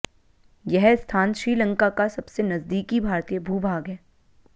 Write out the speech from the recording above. यह स्थान श्रीलंका का सबसे नजदीकी भारतीय भूभाग है